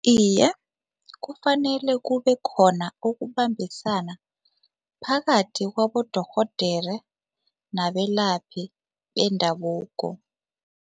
Iye, kufanele kubekhona ukubambisana phakathi kwabodorhodere nabelaphi bendabuko.